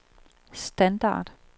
standard